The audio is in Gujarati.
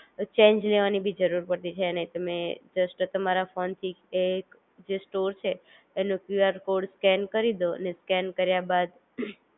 ચેન્જ લેવાની બી જરૂર પડતી છે નહિ તમે જસ્ટ તમારા ફોન થી એ જે સ્ટોર છે એનો કયુઆર કોડ સ્કેન કરી દો અને સ્કેન કર્યા બાદ